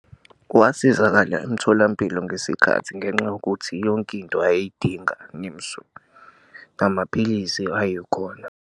Wasizakala emtholampilo ngesikhathi ngenxa yokuthi yonke into ayeyidinga namapilisi ayekhona.